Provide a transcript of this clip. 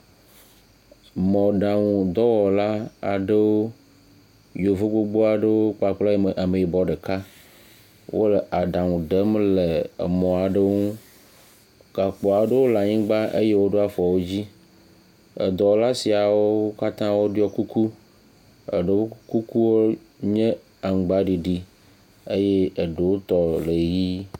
Mɔɛaŋu dɔwɔla aɖewo, yevu gbogbo aɖewo kpakple ameyibɔ ɖeka. Wole aɖaŋu dem le emɔ aɖewo ŋu, gakpo aɖewo le anyigba eye woɖo afɔ edzi. Edɔwɔla siawo katã woɖo kuku, eɖewo kukuwo nye aŋgbaɖiɖi eye eɖewo tɔ le ʋɛ̃.